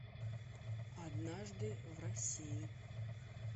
однажды в россии